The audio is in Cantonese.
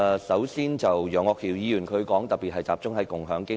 首先，楊岳橋議員的修正案特別集中討論共享經濟。